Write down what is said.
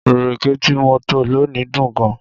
Ìrèké tí mo tọ́ lónìí dùn gan-an